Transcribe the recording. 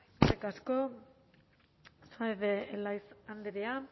eskerrik asko saez de